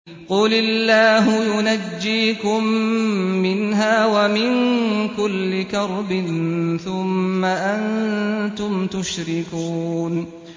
قُلِ اللَّهُ يُنَجِّيكُم مِّنْهَا وَمِن كُلِّ كَرْبٍ ثُمَّ أَنتُمْ تُشْرِكُونَ